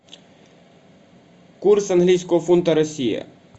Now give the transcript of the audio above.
курс английского фунта россия